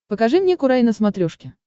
покажи мне курай на смотрешке